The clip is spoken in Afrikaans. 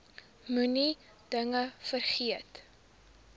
moenie dinge vergeet